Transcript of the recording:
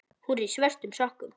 Hún er í svörtum sokkum.